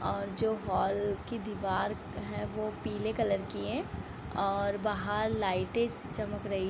और जो हॉल की दिवार है पीले कलर की हैं और बाहर लाइटें चमक रही --